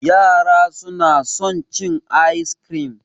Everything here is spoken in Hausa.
Yara su na son cin ayis kirim